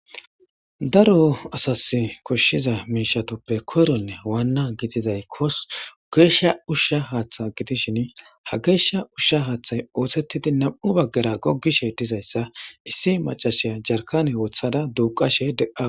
Daro asasi koshiza mishatuppe koyronne wana gididay gesha usha hatha gidishin ha gesha usha hathay osetidi na'u bagara gogishe dizaysa issi mac'asiya jarkane wotada duqashe de'awus.